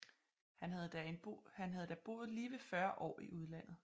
Han havde da boet lige ved fyrre år i udlandet